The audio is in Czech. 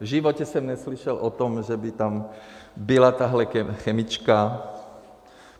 V životě jsem neslyšel o tom, že by tam byla tahle chemička.